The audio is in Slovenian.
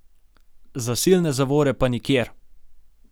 Zasilne zavore pa nikjer.